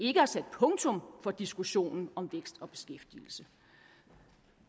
ikke har sat punktum for diskussionen om vækst og beskæftigelse